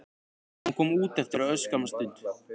Hún kom út eftir örskamma stund.